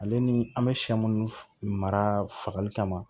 Ale ni an bɛ sɛ minnu mara fagali kama